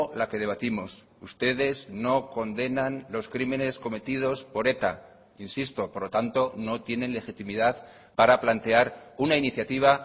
la que debatimos ustedes no condenan los crímenes cometidos por eta insisto por lo tanto no tienen legitimidad para plantear una iniciativa